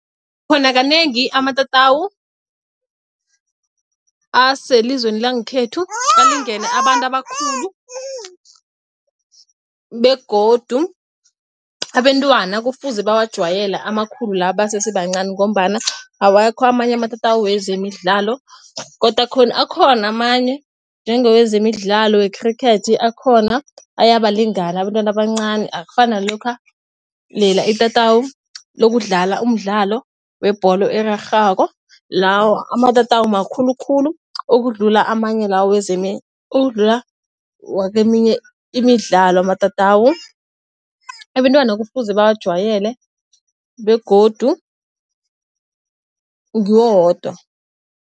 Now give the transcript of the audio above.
Khona kanengi amatatawu aselizweni langekhethu alingene abantu abakhulu, begodu abentwana kufuze bawajwayele amakhulu la basesebancani ngombana awakho amanye amatatawu wezemidlalo, godu akhona akhona amanye njenge wezemidlalo wekhrikhethi akhona ayabalingana abentwana abancani. Akufani nalokha lela itatawu lokudlala umdlalo webholo erarhwako lawo amatatawu makhulu khulu ukudlula amanye la wezemdlalo ukudlula woke eminye imidlalo amatatawu abentwana kufuze bawajwayele begodu ngiwo wodwa.